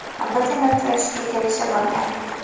Biz yana uchrashishga kelishib olgandik.